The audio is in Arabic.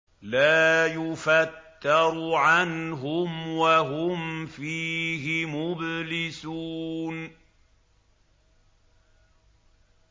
لَا يُفَتَّرُ عَنْهُمْ وَهُمْ فِيهِ مُبْلِسُونَ